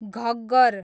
Ghaggar